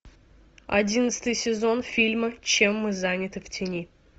одиннадцатый сезон фильма чем мы заняты в тени